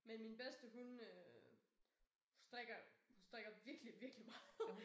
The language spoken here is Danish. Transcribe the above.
Men min bedste hun øh strikker strikker virkelig virkelig meget